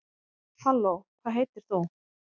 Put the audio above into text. halló hvað heitir þú